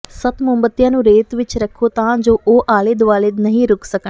ਸੱਤ ਮੋਮਬੱਤੀਆਂ ਨੂੰ ਰੇਤ ਵਿਚ ਰੱਖੋ ਤਾਂ ਜੋ ਉਹ ਆਲੇ ਦੁਆਲੇ ਨਹੀਂ ਰੁਕ ਸਕਣ